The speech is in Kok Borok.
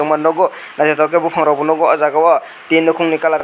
nogo naitotok bopang rog bo nogo ojagao tin nokong ni colour.